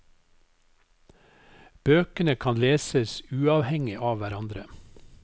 Bøkene kan leses uavhengig av hverandre.